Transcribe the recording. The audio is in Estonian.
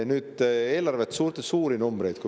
Nüüd eelarve ja suured numbrid.